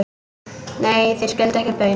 Nei, þeir skildu ekki baun.